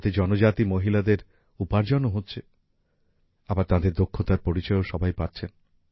এতে জনজাতি মহিলাদের উপার্জনও হচ্ছে আবার তাঁদের দক্ষতার পরিচয়ও সবাই পাচ্ছেন